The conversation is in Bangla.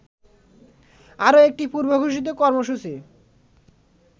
আরো একটি পূর্বঘোষিত কর্মসূচী